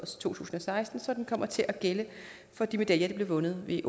to tusind og seksten så den kommer til at gælde for de medaljer der blev vundet ved